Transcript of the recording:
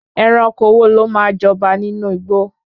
Ẹranko wo lò ma jọba nínú igbó